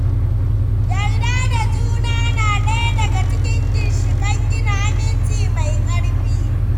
Yarda da juna na ɗaya daga cikin ginshiƙan gina aminci mai ƙarfi.